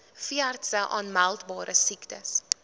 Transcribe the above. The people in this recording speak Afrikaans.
veeartse aanmeldbare siektes